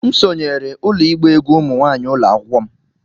M sonyeere ụlọ ịgba egwú ụmụ nwanyị ụlọ akwụkwọ m